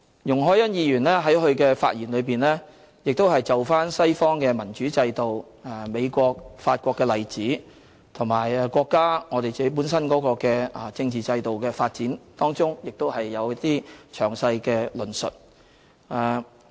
容海恩議員在發言中就西方民主制度、美國和法國的例子，以及國家和我們本身的政治制度發展有詳細的論述。